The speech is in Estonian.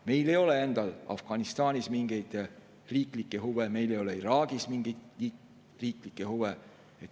Meil ei ole endal Afganistanis mingeid riiklikke huve, meil ei ole Iraagis mingeid riiklikke huve.